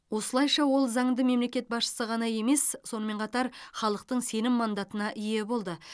осылайша ол заңды мемлекет басшысы ғана емес сонымен қатар халықтың сенім мандатына ие болды